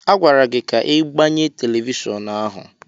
A gwara gị ka ị gbanye telivishọn ahụ!